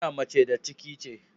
Duniya mace da ciki ce.